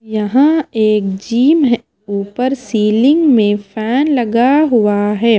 यहां एक जिम है ऊपर सीलिंग में फैन लगा हुआ है।